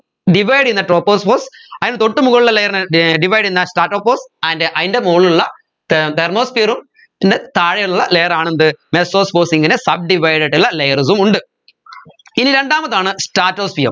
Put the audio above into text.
divide ചെയ്യുന്ന tropopause അതിന് തൊട്ടുമുകളിലുള്ള layer നെ ഏർ divide ചെയ്യുന്ന stratopause and അയിൻറെ മുകളിലുള്ള there thermosphere ഉം യിന്റെ താഴെയുള്ള layer ആണ് എന്ത് mesopause ഇങ്ങനെ subdivide ആയിട്ടുള്ള layers ഉം ഉണ്ട് ഇനി രണ്ടാമതാണ് stratosphere